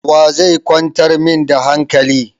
Wa zai kwantar min da hankali?